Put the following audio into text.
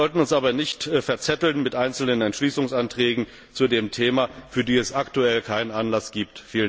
Wir sollten uns aber nicht verzetteln mit einzelnen Entschließungsanträgen zu dem Thema, für die es aktuell keinen Anlass gibt.